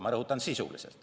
Ma rõhutan: sisuliselt.